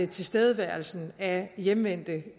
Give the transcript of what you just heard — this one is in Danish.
tilstedeværelsen af hjemvendte